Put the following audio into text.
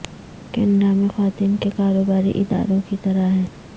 Canada میں خواتین کے کاروباری اداروں کی طرح ہیں